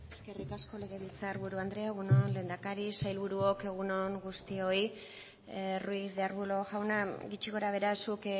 eskerrik asko legebiltzar buru anderea egun on lehendakari sailburuok egun on guztioi ruiz de arbulo jauna gutxi gora behera zuk